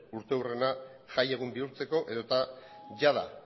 urteurrena jaiegun bihurtzeko edota jada